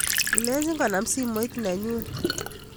Ilejin konam simoit nenyun